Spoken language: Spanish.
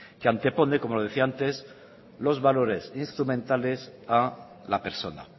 que antepone como les decía antes los valores instrumentales a la persona